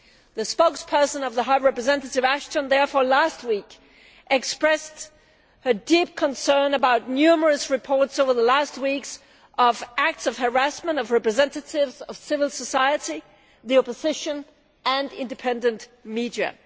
The spokesperson of Vice President High Representative Ashton therefore last week expressed her deep concern about numerous reports over the last weeks of acts of harassment of representatives of civil society, the opposition and independent media'.